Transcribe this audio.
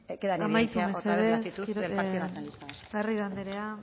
bueno pues queda en evidencia